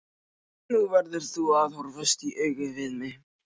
Nú verður þú að horfast í augu við mig.